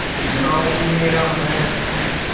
गॉँव मेरा है